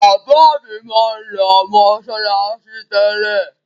Bàbá mi máa ń lọ mọ́ṣáláṣí tẹ́lẹ̀.